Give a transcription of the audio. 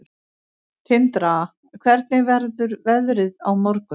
Tindra, hvernig verður veðrið á morgun?